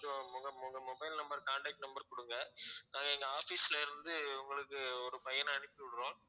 உங்க உங்க mobile number contact number குடுங்க நாங்க எங்க office ல இருந்து உங்களுக்கு ஒரு பையனை அனுப்பிவிடுறோம்